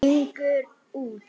Gengur út.